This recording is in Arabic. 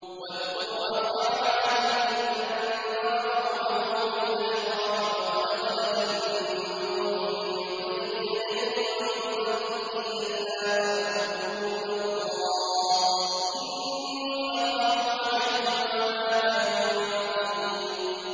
۞ وَاذْكُرْ أَخَا عَادٍ إِذْ أَنذَرَ قَوْمَهُ بِالْأَحْقَافِ وَقَدْ خَلَتِ النُّذُرُ مِن بَيْنِ يَدَيْهِ وَمِنْ خَلْفِهِ أَلَّا تَعْبُدُوا إِلَّا اللَّهَ إِنِّي أَخَافُ عَلَيْكُمْ عَذَابَ يَوْمٍ عَظِيمٍ